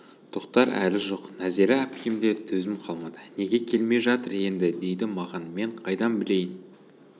тоқтар әлі жоқ нәзира әпкемде төзім қалмады неге келмей жатыр енді дейді маған мен қайдан білейін